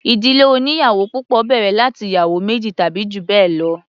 Ìdílé oníyàwò púpọ̀ bẹ̀rẹ̀ láti ìyàwó méjì tàbí jù bẹ́ẹ̀ lọ.